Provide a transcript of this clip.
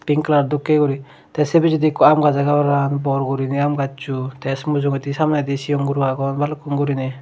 pink kalar dokke guri te se pisedi ikko aam gaj age parapang bor guriney aam gaccho te se mujugedi samnedi sigon guro agon balukkun guriney.